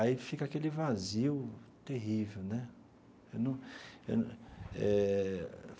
Aí fica aquele vazio terrível né eu num eu eh.